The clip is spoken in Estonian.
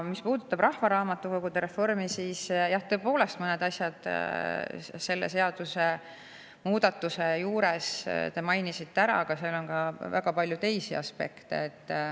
Mis puudutab rahvaraamatukogude reformi, siis jah, tõepoolest, mõned asjad selle seadusemuudatuse juures te mainisite ära, aga seal on ka väga palju teisi aspekte.